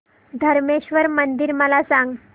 धरमेश्वर मंदिर मला सांग